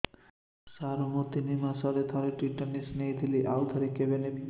ସାର ମୁଁ ତିନି ମାସରେ ଥରେ ଟିଟାନସ ନେଇଥିଲି ଆଉ ଥରେ କେବେ ନେବି